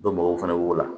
Dɔ bɔgɔ fana b'o la